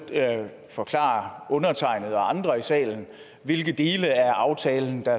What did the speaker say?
forklare undertegnede og andre i salen hvilke dele af aftalen der